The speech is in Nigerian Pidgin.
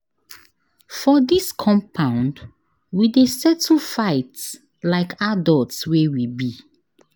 For dis compound, we dey settle fight like adults wey we be.